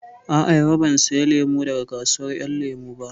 A'a, yau ban saya lemu daga kasuwar ƴan lemu ba